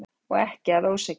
Og ekki að ósekju.